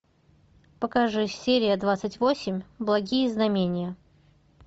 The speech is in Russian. покажи серия двадцать восемь благие знамения